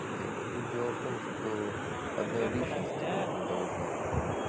дело тут дело в том что одной личности быть не должно